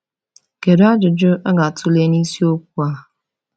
Kedu ajụjụ a ga-atụle n’isiokwu a?